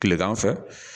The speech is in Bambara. Tilegan fɛ